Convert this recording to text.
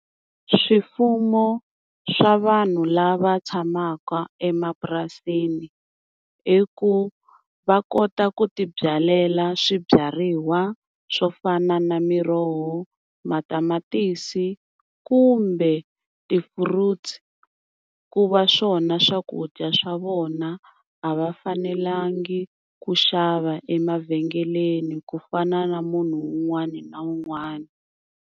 Swifuno swa vanhu lava tshamaka emapurasini i ku, va kota ku ti byalela swibyariwa swo fana na miroho, matamatisi kumbe ti-fruits ku va swona swakudya swa vona a va fanelangi ku xava emavhengeleni ku fana na munhu un'wani na un'wani.